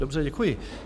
Dobře, děkuji.